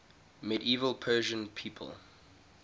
medieval persian people